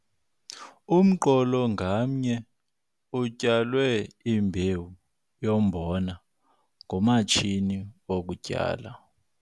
Umqolo ngamnye utyalwe imbewu yombona ngomatshini wokutyala.